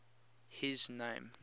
his name